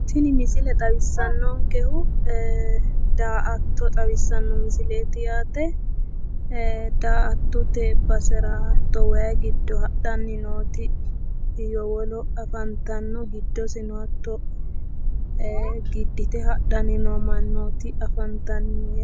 Tini misile xawissannonkehu daa''atto xawissanno misileeti yaate. Daa''attote basera hatto wayi giddo hadhanni nooti yowolo afantanno giddisino hatto giddite hadhanni noo mannooti afantanno.